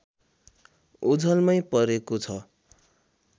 ओझलमै परेको छ